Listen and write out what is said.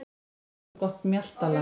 Þið hafið svo gott mjaltaland.